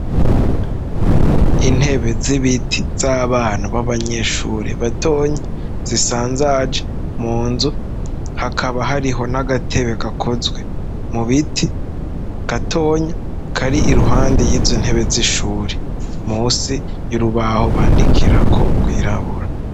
Intebe z'ibiti z'abana b'abanyeshure batonya zisanzaje mu nzu hakaba hariho n'agatebe gakozwe mu biti gatonya ko ari i ruhande y'izo ntebe zishure musi y'urubaho bandikirako kwirabura.